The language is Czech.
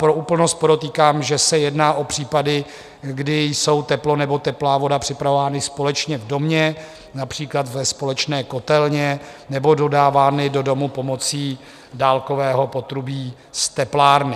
Pro úplnost podotýkám, že se jedná o případy, kdy jsou teplo nebo teplá voda připravovány společně v domě, například ve společné kotelně, nebo dodávány do domu pomocí dálkového potrubí z teplárny.